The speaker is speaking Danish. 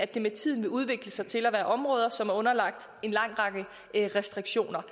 det med tiden udvikle sig til at være områder som er underlagt en lang række restriktioner